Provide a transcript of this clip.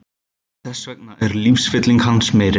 Þess vegna er lífsfylling hans meiri.